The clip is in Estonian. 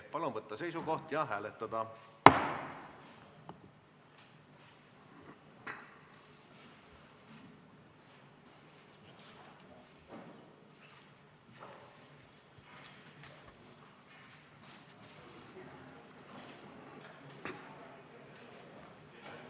Palun võtta seisukoht ja hääletada!